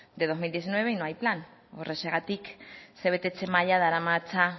de dos mil diecinueve y no hay plan horrexegatik ze betetze maila daramatza